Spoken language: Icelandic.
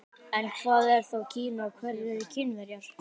En hvað er þá Kína og hverjir eru Kínverjar?